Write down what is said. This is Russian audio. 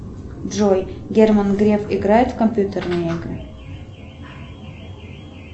джой герман греф играет в компьютерные игры